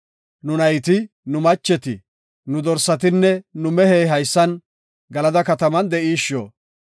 Nu nayti, nu macheti, nu dorsatinne nu mehey haysan Galada katamatan de7ishshona.